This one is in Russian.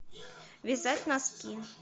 вязать носки